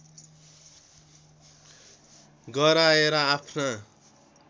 गराएर आफ्ना